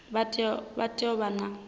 vha tea u vha vho